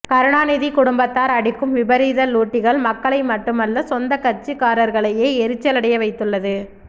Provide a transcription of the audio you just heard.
கருணாநிதி குடும்பத்தார் அடிக்கும் விபரீத லூட்டிகள் மக்களை மட்டுமல்ல சொந்தக் கட்சிக்காரர்களேயே எரிச்சலடைய வைத்துள்ளது